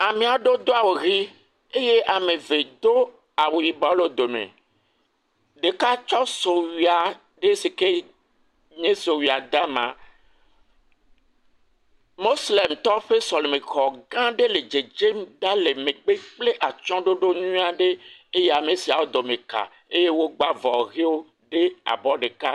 Ame aɖe do awu ʋii eye ame eve do awu yibɔ le wo dome. Ɖeka aɖe do sowui aɖe si ke nye sowuia dama. Moslemitɔwo ƒe sɔlɛmɛxɔ gãã aɖe le dzedzem ɖa le megbe kple atsyɔ̃ɖoɖo nyuie aɖe. Eye ame siawo dome kaa, eye wodo avɔ ʋiwo eye abɔ ɖeka.